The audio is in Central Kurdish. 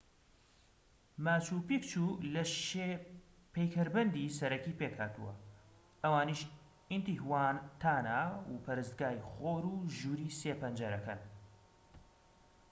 ماچو پیکچو لە شێ پەیکەربەندی سەرەکی پێکهاتووە ئەوانیش ئینتیهواتانا و پەرستگای خۆر و ژووری سێ پەنجەرەکەن